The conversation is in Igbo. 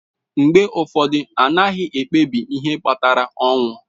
Mgbe ụfọdụ, a gaghị ekpebi ihe kpatara ọnwụ.